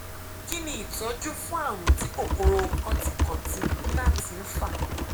kí ni ìtọjú fún àrùn tí kòkòrò kantikanti gnat ń fà